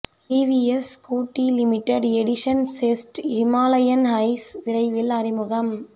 TVS Scooty limited edition Zest Himalayan highs விரைவில் அறிமுகம்